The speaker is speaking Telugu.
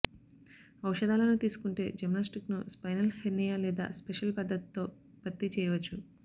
ఔషధాలను తీసుకుంటే జిమ్నాస్టిక్స్ను స్పైనల్ హెర్నియా లేదా స్పెషల్ పద్దతితో భర్తీ చేయవచ్చు